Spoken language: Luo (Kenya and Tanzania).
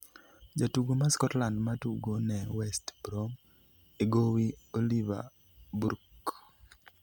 jatugo ma Scotland ma tugo ne West Brom e gowi Oliver Burke